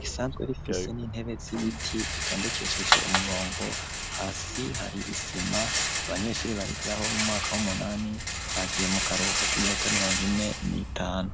risanzwe rifise, n'intebe z'ibiti, zitondekesheje umurongo; hasi hari isima, abanyeshuri bahigiraho, bo mu mwaka w'umunani, bagiye mu karubuko, k'iminota, mirongo ine n'itanu.